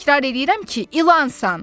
Təkrar eləyirəm ki, ilansan!